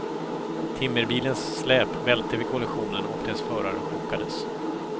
Timmerbilens släp välte vid kollisionen och dess förare chockades.